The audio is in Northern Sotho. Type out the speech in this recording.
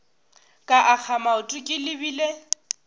ka akga maoto ke lebile